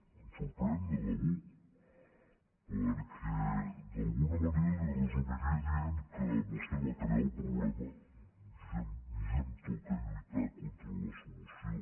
em sorprèn de debò perquè d’alguna manera li ho resumiria dient que vostè va crear el problema i a mi em toca lluitar contra la solució